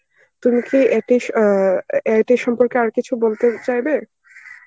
তুমি কি এতে স~ অ্যাঁ এইটার সম্পর্কে আর কিছু বলতে চাইবে?